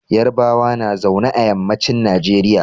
Yarbawa na zaune a yammacin Nigeria.